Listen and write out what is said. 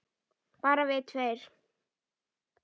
Bara við tveir?